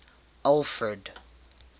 alfred